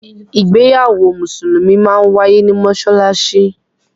Ìgbéyàwó musulumi máa ń waiye ni Mossalassi.